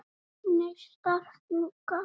Neistar fjúka.